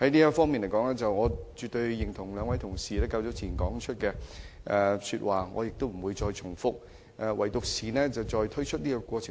就此，我絕對認同兩位同事早前的發言，我不會重複他們的論點。